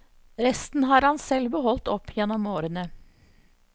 Resten har han selv beholdt opp gjennom årene.